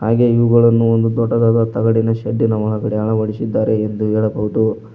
ಹಾಗೆ ಇವುಗಳನ್ನು ಒಂದು ದೊಡ್ಡದಾದ ತಗಡಿನ ಶೆಡ್ಡಿನ ಒಳಗಡೆ ಅಳವಡಿಸಿದ್ದಾರೆ ಎಂದು ಹೇಳಬಹುದು.